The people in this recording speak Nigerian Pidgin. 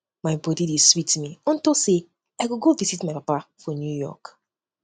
my body dey sweet me unto say um i go go visit my papa for new york